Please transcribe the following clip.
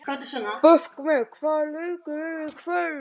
Burkney, hvaða leikir eru í kvöld?